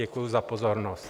Děkuju za pozornost.